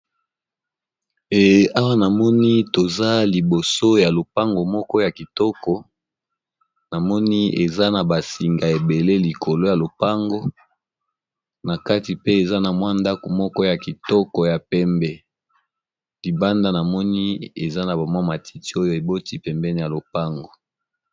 Awa namoni toza liboso ya lopango moko ya kitoko namoni eza na ba singa ebele likolo ya lopango na kati pe eza na mwa ndako moko ya kitoko ya pembe libanda namoni eza na ba mwa matiti oyo eboti pembeni ya lopango.